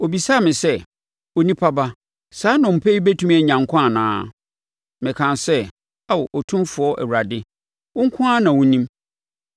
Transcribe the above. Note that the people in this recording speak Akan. Ɔbisaa me sɛ, “Onipa ba, saa nnompe yi bɛtumi anya nkwa anaa?” Mekaa sɛ, “Ao Otumfoɔ Awurade, wo nko ara na wonim.”